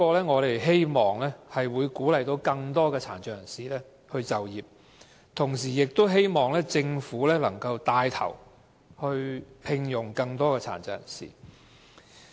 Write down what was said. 我們希望可藉此鼓勵更多殘障人士就業，亦希望政府牽頭聘用更多殘疾人士。